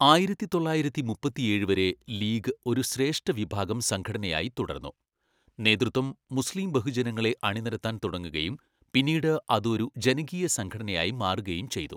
ആയിരത്തിതൊള്ളായിരത്തിമുപ്പത്തിഏഴ് വരെ ലീഗ് ഒരു ശ്രേഷ്ഠ വിഭാഗം സംഘടനയായി തുടർന്നു, നേതൃത്വം മുസ്ലീം ബഹുജനങ്ങളെ അണിനിരത്താൻ തുടങ്ങുകയും പിന്നീട് അത് ഒരു ജനകീയ സംഘടനയായി മാറുകയും ചെയ്തു.